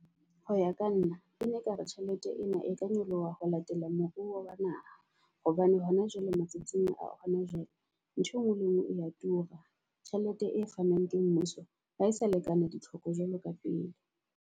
Hoya ka nna e ne ekare tjhelete ena e ka nyoloha ho latela moruo wa naha. Hobane hona jwale matsatsing a hona jwale ntho engwe le ngwe e ya tura. Tjhelete e fanang ke mmuso ha e sa lekana di tlhoko jwalo ka pele.